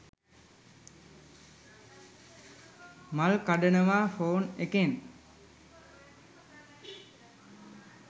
මල් කඩනවා ෆෝන් එකෙන්.